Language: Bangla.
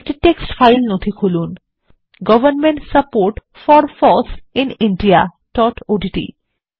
একটি টেক্সট ফাইল নথি খুলুন government support for foss in indiaওডিটি